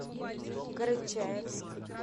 карачаевск